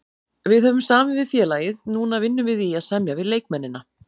Við höfum samið við félagið, núna vinnum við í að semja við leikmennina.